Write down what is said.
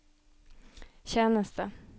tjeneste